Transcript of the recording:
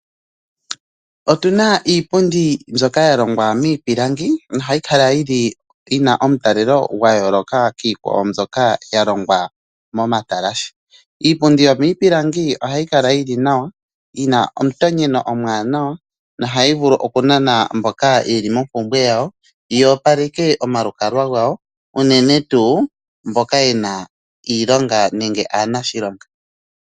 Otuna iipundi mbyoka ya longwa miipilangi, noha yi kala yina omutalelo gwa yoolokwa kiikwawo mbyoka ya longwa mo matalashe. Iipundi yomiipilangi oha yi kala yili nawa, yina omutonyeno omuwanawa, no hayi vulu oku nana mboka yeli mompumbwe yawo, yo opaleke omalukalwa gawo, unene tuu mboka yena iilonga ,nenge aanashilonga.